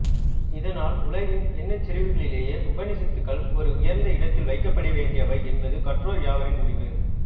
இதனால் உலகின் எண்ணச்செறிவுகளிலேயே உபநிஷத்துக்கள் ஒரு உயர்ந்த இடத்தில் வைக்கப்படவேண்டியவை என்பது கற்றோர் யாவரின் முடிவு